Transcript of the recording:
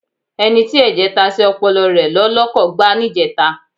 Ẹni tí ẹ̀jẹ̀ ta sí ọpọlọ rẹ ló lọkọ̀ gbá níjẹta.